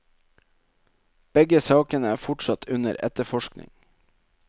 Begge sakene er fortsatt under etterforskning.